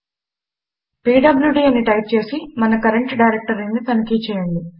PWD అని type చేసి మన కరంట్ డైరెక్టరీని తనిఖి చేయండి